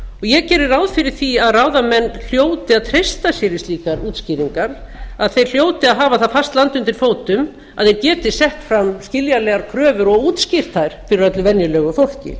ég geri ráð fyrir því að ráðamenn hljóti að treysta sér í slíkar útskýringar að þeir hljóti að hafa það fast land undir fótum að þeir geti sett fram skiljanlegar kröfur og útskýrt þær fyrir öllu venjulegu fólki